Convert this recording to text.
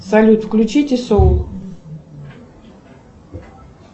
салют включите соул